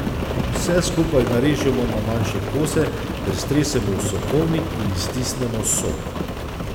Vse skupaj narežemo na manjše kose ter stresemo v sokovnik in iztisnemo sok.